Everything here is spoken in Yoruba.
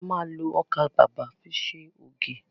A ma lo ọkà bàbà fi ṣe ògì